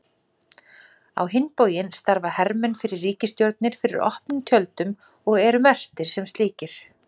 Á hinn bóginn starfa hermenn fyrir ríkisstjórnir fyrir opnum tjöldum og eru merktir sem slíkir.